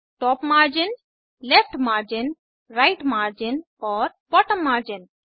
top margin left margin right margin और bottom margin